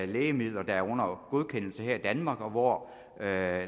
lægemidler der er under godkendelse her i danmark og hvor